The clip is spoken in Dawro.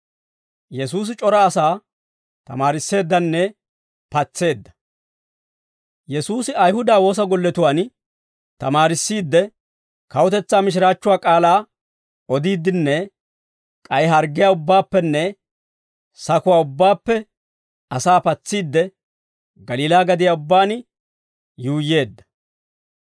Yesuusi Ayihuda woosa golletuwaan tamaarissiidde, kawutetsaa mishiraachchuwaa k'aalaa odiiddinne k'ay harggiyaa ubbaappenne sakuwaa ubbaappe asaa patsiidde, Galiilaa gadiyaa ubbaan yuuyyeedda.